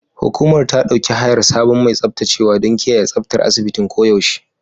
Hukumar ta ɗauki hayar sabon mai tsaftacewa don kiyaye tsaftar asibitin koyaushe.